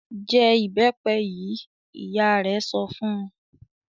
"Jẹ ìbẹ́pẹ yìí!" Ìyá rẹ̀ sọ fun.